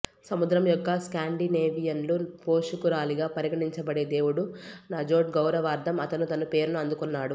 సముద్రం యొక్క స్కాండినేవియన్ల పోషకురాలిగా పరిగణించబడే దేవుడు నజోర్డ్ గౌరవార్ధం అతను తన పేరును అందుకున్నాడు